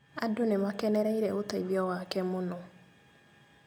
Andũ nĩmakenereire ũteithio wake mũno